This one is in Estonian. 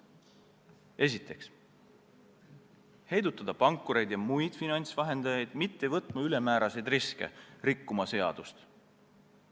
Esiteks, heidutada pankureid ja muid finantsvahendajaid, nii et nad ei võtaks ülemääraseid riske, ei rikuks seadust.